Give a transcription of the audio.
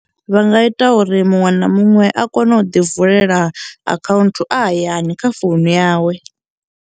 Vha nga ita uri muṅwe na muṅwe a kone u ḓi vulela akhaunthu a hayani kha founu yawe.